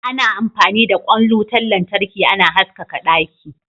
Ana amfani da kwain wutan lantarki ana haskaka daki.